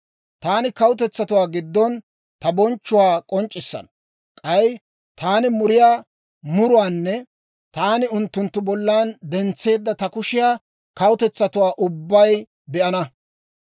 « ‹Taani kawutetsatuwaa giddon ta bonchchuwaa k'onc'c'issana. K'ay taani muriyaa muruwaanne taani unttunttu bollan dentseedda ta kushiyaa kawutetsatuu ubbay be'ana.